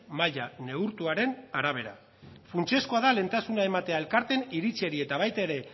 maila neurtuaren arabera funtsezkoa da lehentasuna ematea elkarteen iritziei eta baita ere